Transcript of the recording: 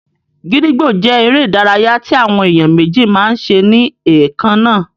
Gídígbò jẹ́ eré ìdárayá tí àwọn èèyàn méjì máa n ṣe ní ẹ̀kannáà